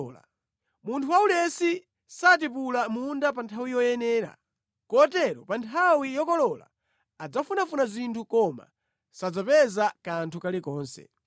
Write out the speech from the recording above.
Munthu waulesi satipula mʼmunda pa nthawi yoyenera; kotero pa nthawi yokolola adzafunafuna zinthu koma sadzapeza kanthu kalikonse.